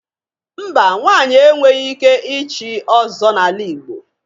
Mba, nwaanyị enweghi ike ịchị Ọzọ n'ala Igbo.